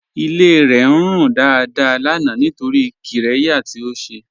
Ilé rẹ̀ ń rún dáadáà lánà nítorí qírẹ̀yà tí ó ṣè.